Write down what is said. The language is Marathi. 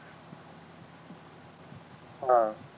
अं